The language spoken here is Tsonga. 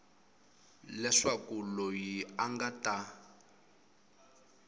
leswaku loyi a nga ta